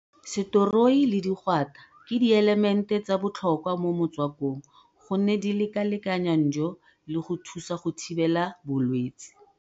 Setoroi le digwata ke dielemente tsa botlhokwa mo motswakong gonne di lekalekanya njo le go thusa go thibela bolwetse.